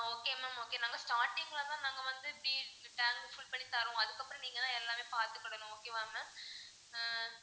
okay ma'am okay நாங்க starting ல தான் நாங்க வந்து இப்படி tank full பண்ணி தருவோம் அதுக்கப்பறம் நீங்க தான் எல்லாமே பாத்துக்கணும் ma'am okay வா ma'am ஆஹ்